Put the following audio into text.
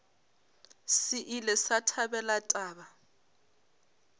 se ile sa thabela taba